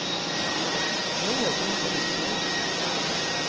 Nå våger hun seg utpå igjen.